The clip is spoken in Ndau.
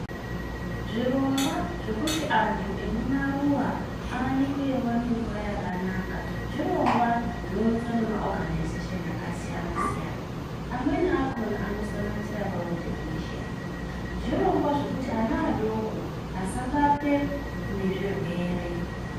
Zvirongwa zvekuti antu emumaruwa, awanikwe eyiwana mvura yakanaka, zvirongwa zvinowunzva nema oganazeshini akasiyana siyana. Amweni akhona anosanganisira World Vision. Zvirongwa zvekuti ana adoko, asabatwe nezvirwere.